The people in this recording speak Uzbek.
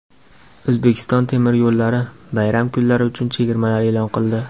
"O‘zbekiston temir yo‘llari" bayram kunlari uchun chegirmalar e’lon qildi.